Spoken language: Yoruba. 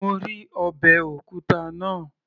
Mo rí ọbẹ̀ òkúta náà